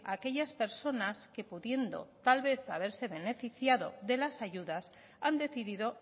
aquellas personas que pudiendo tal vez haberse beneficiado de las ayudas han decidido